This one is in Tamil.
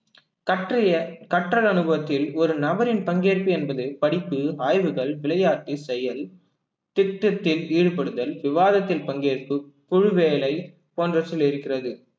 கற்றைய~ கற்றல் அனுபவத்தில் ஒரு நபரின் பங்கேற்பு என்பது படிப்பு, ஆய்வுகள், விளையாட்டு, செயல் திட்டத்தில் ஈடுபடுதல், விவாதத்தில் பங்கேற்பு, குழுவேலை, போன்ற சில இருக்கிறது